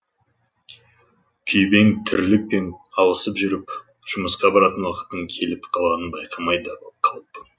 күйбең тірлік пен алысып жүріп жұмысқа баратын уақыттын келіп қалғанын байқамай да қалыппын